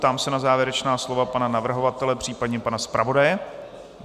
Ptám se na závěrečná slova pana navrhovatele, případně pana zpravodaje.